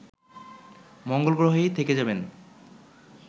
মঙ্গলগ্রহেই থেকে যাবেন